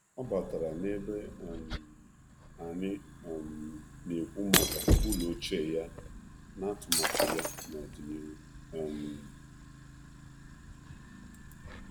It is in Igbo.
Ọ batara ka anyị na-akparịta ụka na akwu edilo ochie ya na atụmatụ ọdịnihu ya.